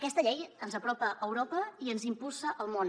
aquesta llei ens apropa a europa i ens impulsa al món